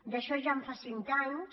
d’això ja en fa cinc anys